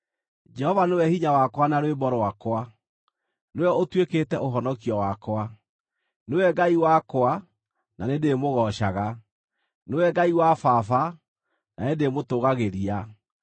Jehova nĩwe hinya wakwa na rwĩmbo rwakwa; nĩwe ũtuĩkĩte ũhonokio wakwa. Nĩwe Ngai wakwa na nĩndĩĩmũgoocaga, Nĩwe Ngai wa baba na nĩndĩĩmũtũũgagĩria.